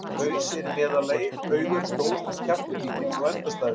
Haus er í meðallagi, augu eru stór en kjaftur lítill og endastæður.